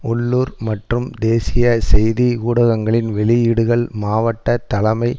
உள்ளூர் மற்றும் தேசிய செய்தி ஊடகங்களின் வெளியீடுகள் மாவட்ட தலைமை